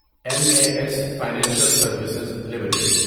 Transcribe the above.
M A S financial services limited